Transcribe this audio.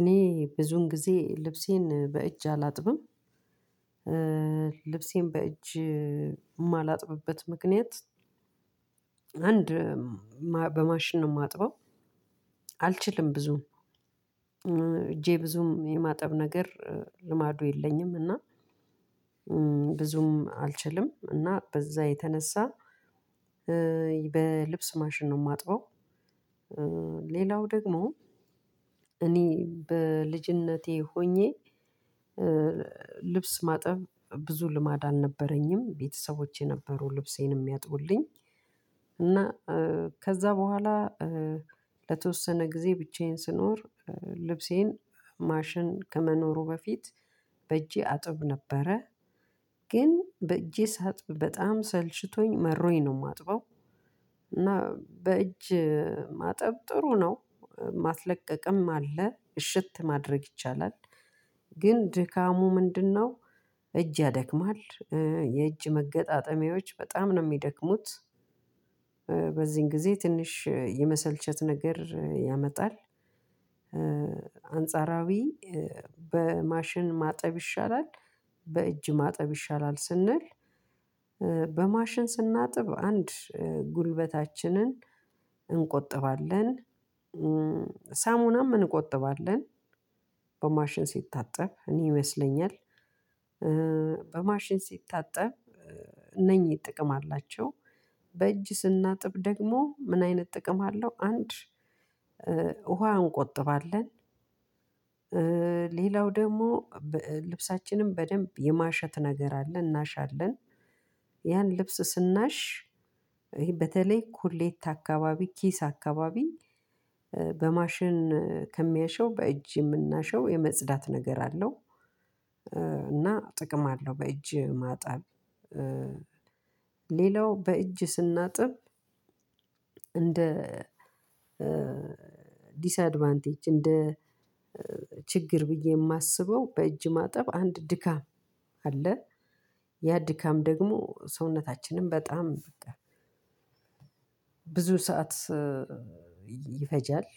እኔ ብዙውን ጊዜ ልብሴን በእጄ አላጥብም ልብሴን በእጂ የማላጥብበት ምክንያት አንድ በማሽን ነው የማጥበው። አልችልም ብዙም እጄ ብዙም የማጠብ ነገር ልማዱ የለኝም። እና ብዙም አልችልም እና በዛ የተነሳ በልብስ ማሽን ነው የማጥበው። ሌላው ደግሞ እኔ በልጅነቴ ሆኜ ልብስ ማጠብ ብዙ ልማድ አልነበረኝም ቤተሰቦቼ ነበሩ ልብሴንም የሚያጥብልኝ። እና ከዛ በኋላ ለተወሰነ ጊዜ ብቻዬን ስኖር ልብሴን ማሽን ከመኖሩ በፊት በእጄ አጥብ ነበረ። ግን በእጄ ሳጥብ በጣም ሰልሽቶኝ መሮኝ ነው የማጥበው። እና በእጅ ማጠብ ጥሩ ነው ማስለቀቅም አለ እሽት ማድረግ ይቻላል። ግን ድካሙ ምንድነው? እጅ ያደክማል የእጅ መገጣጠሚያዎች በጣም ነው የሚደክሙት። በዚህን ጊዜ ትንሽ የመሰልቸት ነገር ያመጣል። አንጻራዊ በማሽን ማጠብ ይሻላል። በእጅ ማጠብ ይሻላል ስንል በማሽን ስናጥብ አንድ ጉልበታችንን እንቆጥባለን ሳሙናም እንቆጥባለን። በማሽን ሲታጠብ እኔ ይመስለኛል። በማሽን ሲታጠብ እነኚህ ጥቅም አላቸው። በእጂ ስናጥብ ደግሞ ምን አይነት ጥቅም አለው? አንድ ውሃ እንቆጥባለን። ሌላው ደግሞ ልብሳችንን በደንብ የማሸት ነገር አለ እናሻለን ያን ልብስ ስናሽ በተለይ ኮሌታ አካባቢ ኪስ አካባቢ በማሽን ከሚያሸው በእጅ የምናሸው የመጽዳት ነገር አለው። እና ጥቅም አለው በእጅ ማጠብ። ሌላው በእጅ ስናጥብ እንደ ዲስአድቫንቴጅ እንደ ችግር ብዬ የማስበው በእጅ ማጠብ አንድ ድካም አለ። ያ ድካም ደግሞ ሰውነታችንም በጣም ብዙ ሰዓት ይፈጃል